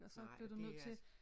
Nej det